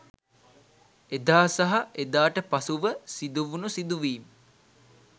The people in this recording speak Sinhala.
එදා සහ එදාට පසුව සිදුවුනු සිදුවීම්